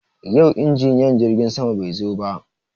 Yau injiniyan jirgin sama bai zo ba.